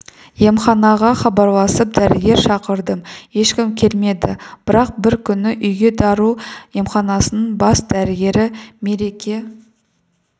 емханаға хабарласып дәрігер шақырдым ешкім келмеді бірақ бір күні үйге дару емханасының бас дәрігері мереке